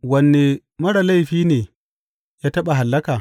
Wane marar laifi ne ya taɓa hallaka?